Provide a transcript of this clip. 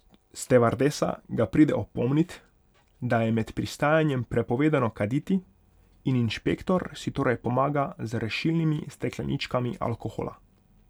Stevardesa ga pride opomnit, da je med pristajanjem prepovedano kaditi, in inšpektor si torej pomaga z rešilnimi stekleničkami alkohola.